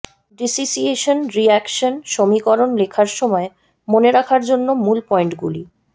dissociation reaction সমীকরণ লেখার সময় মনে রাখার জন্য মূল পয়েন্টগুলি